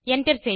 enter